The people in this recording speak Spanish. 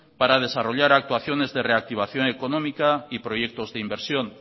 para desarrollar actuaciones de reactivación económica y proyectos de inversión